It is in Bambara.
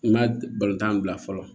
N ma balontan bila fɔlɔ